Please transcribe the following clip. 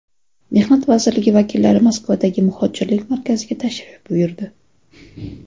Mehnat vazirligi vakillari Moskvadagi muhojirlik markaziga tashrif buyurdi.